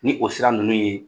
Ni o sira ninnu ye